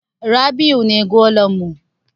Rabi'u ne golan mu.